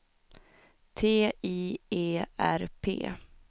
T I E R P